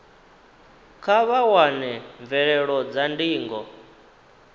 kha vha wane mvelelo dza ndingo